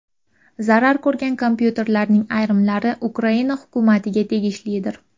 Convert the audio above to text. Zarar ko‘rgan kompyuterlarning ayrimlari Ukraina hukumatiga tegishlidir.